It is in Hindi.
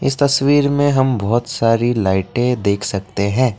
इस तस्वीर में हम बहुत सारी लाइटें देख सकते हैं।